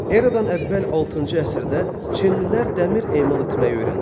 Eradan əvvəl altıncı əsrdə çinlilər dəmir emal etməyi öyrəndilər.